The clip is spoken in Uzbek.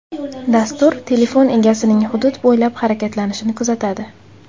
Dastur telefon egasining hudud bo‘ylab harakatlanishini kuzatadi.